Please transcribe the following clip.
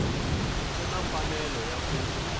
u na mfanelo ya ku